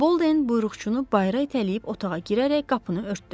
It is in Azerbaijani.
Boldin buyruqçunu bayıra itələyib otağa girərək qapını örtdü.